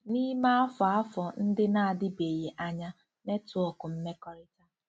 N'ime afọ afọ ndị na-adịbeghị anya, netwọk mmekọrịta